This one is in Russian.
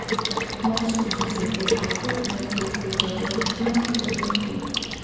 можешь включить футбол апл между вулверхэмптоном и ливерпулем